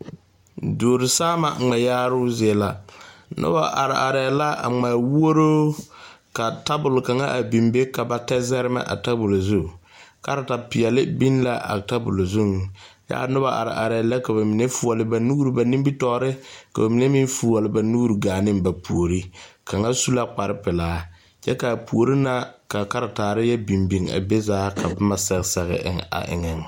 Duuri saama ŋmɛ yaaroo zie la, noba are aree la a ŋmɛ wɔroo ka tabol kaŋa a biŋ be ka ba tɛ zarema a tabol zu, karetaa pɛɛlɛ biŋ la a tabol zuŋ ka a noba are aree la ka ba mine fuule ba nuuri ba nimitɔre ka ba mine meŋ fuule ba nuuri gane ba pori seŋ kaŋa su la kpare pɛlaa kyɛ ka a pori na karetarre na yɔ biŋ biŋ zaa ka boma yɔ sɛge sɛge eŋ.